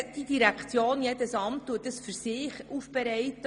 Jede Direktion und jedes Amt bereitet die Daten für sich auf.